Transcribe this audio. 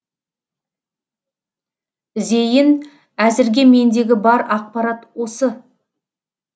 зейін әзірге мендегі бар ақпарат осы